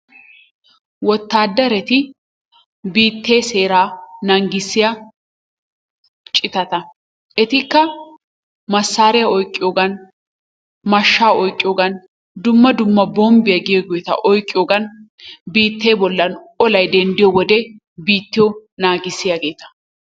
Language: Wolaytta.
wotaadarati biittee seeraa naagissiya citatta etikka masaariya oyqqiyogan mashaa oyqqiyogan dumma dumma bombbiya giyoogeeta oyqqiyogan biittee bollan olay denddiyo wode biittiyo naagissiyaageeta.